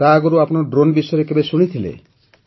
ତା ଆଗରୁ ଆପଣ ଡ୍ରୋନ୍ ବିଷୟରେ କେବେ ଶୁଣିଥିଲେ